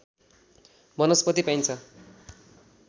वनस्पति पाइन्छ